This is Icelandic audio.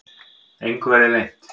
Engu verði leynt.